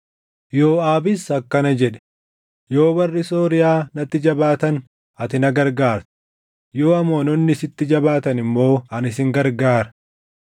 Yooʼaabis akkana jedhe; “Yoo warri Sooriyaa natti jabaatan ati na gargaarta; yoo Amoononni sitti jabaatan immoo ani sin gargaara.